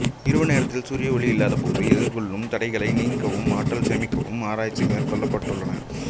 இரவுநேர நேரத்தில் சூரிய ஒளி இல்லாத போது எதிர்கொள்ளும் தடைகளை நீக்கவும் ஆற்றல் சேமிக்கவும் ஆராய்ச்சி மேற்கொள்ளபட்டுளன